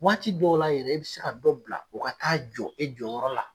Waati dɔw la yɛrɛ e be se ka dɔ bila u ka taa jɔ e jɔnyɔrɔ la.